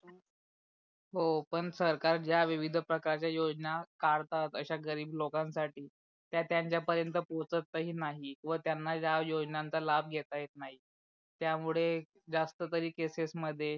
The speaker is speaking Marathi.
हो पण सरकार ज्या विविध प्रकारच्या योजना कडतात अश्या गरीब लोकांनासाठी ते त्यांच्या पर्यंत पोचत ही नाही व त्यांना या योजनेचा लाभ घेता येत नाही त्यामुळे जास्त तरी केसेस मध्ये